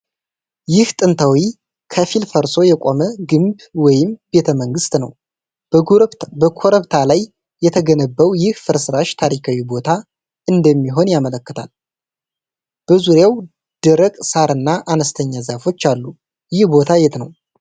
ይህ ጥንታዊ፣ ከፊል ፈርሶ የቆመ ግንብ ወይንም ቤተመንግስት ነው። በኮረብታ ላይ የተገነባው ይህ ፍርስራሽ ታሪካዊ ቦታ እንደሚሆን ያመለክታል። በዙሪያው ደረቅ ሳርና አነስተኛ ዛፎች አሉ። ይህ ቦታ የት ነው?